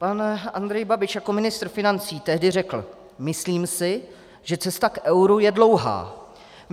Pan Andrej Babiš jako ministr financí tehdy řekl: "Myslím si, že cesta k euru je dlouhá.